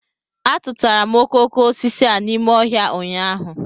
A tụtụtara m okoko osisi a n'ime ọhịa ụnyahụ